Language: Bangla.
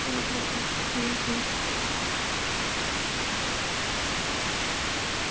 ভালো থাকবে ভালো থাকবেন আল্লাহাফিজ আল্লাহাফিজ